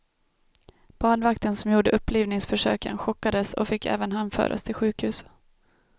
Badvakten som gjorde upplivningsförsöken chockades och fick även han föras till sjukhus.